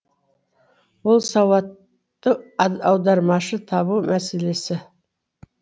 ол сауатты аудармашы табу мәселесі